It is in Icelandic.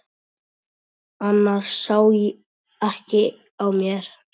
Annars sá ekki á mér.